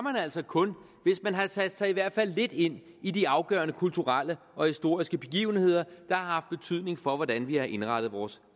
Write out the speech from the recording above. altså kun hvis man har sat sig i hvert fald lidt ind i de afgørende kulturelle og historiske begivenheder der har haft betydning for hvordan vi har indrettet vores